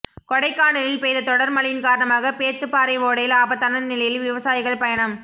கொடைக்கானலில் பெய்த தொடா் மழையின் காரணமாக பேத்துப்பாறை ஓடையில் ஆபத்தான நிலையில் விவசாயிகள் பயணம்